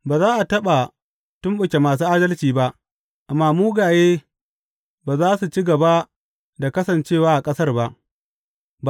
Ba za a taɓa tumɓuke masu adalci ba, amma mugaye ba za su ci gaba da kasance a ƙasar ba.